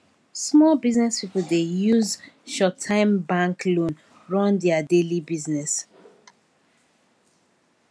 small business people dey use shorttime bank loan run their daily business